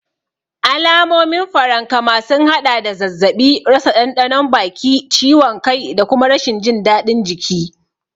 Alamomin farankama sun haɗa da zazzaɓi, rasa ɗanɗanon baki, ciwon kai da kuma rashin jin daɗin jiki.